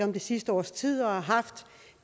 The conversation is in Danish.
om det sidste års tid og har haft